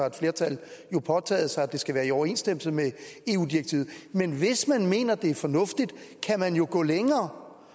et flertal har påtaget sig at det skal være i overensstemmelse med eu direktivet men hvis man mener det er fornuftigt kan man gå længere